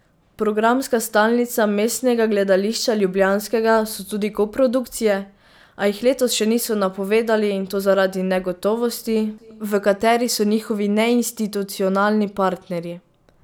Programska stalnica Mestnega gledališča ljubljanskega so tudi koprodukcije, a jih letos še niso napovedali, in to zaradi negotovosti, v kateri so njihovi neinstitucionalni partnerji.